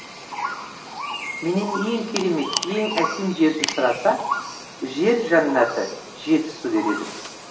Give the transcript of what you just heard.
менен ең керемет ең әсем жерді сұраса жер жәннаты жетісу дер едім